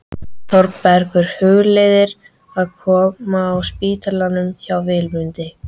Þórbergur hugleiðir að koma að á spítalanum hjá Vilmundi.